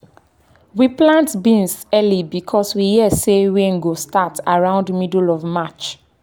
we plant beans early because we hear say rain go start around middle of march.